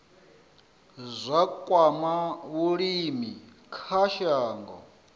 zwa kwama vhulimi kha shango